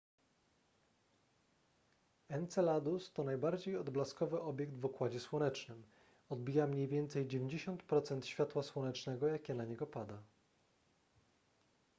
enceladus to najbardziej odblaskowy obiekt w układzie słonecznym odbija mniej więcej 90 procent światła słonecznego jakie na niego pada